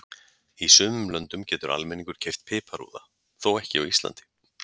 Í sumum löndum getur almenningur keypt piparúða, þó ekki á Íslandi.